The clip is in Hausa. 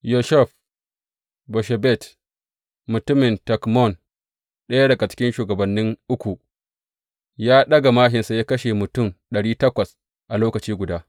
Yosheb Basshebet, mutumin Takemon ɗaya daga cikin shugabanni Uku; ya ɗaga māshinsa ya kashe mutum ɗari takwas a lokaci guda.